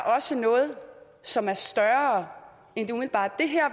også noget som er større end det umiddelbare det her